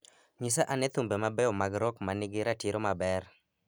Nyisa ane thumbe mabeyo mag rock ma nigi ratiro maber